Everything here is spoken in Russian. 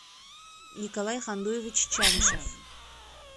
николай хандуевич чанышев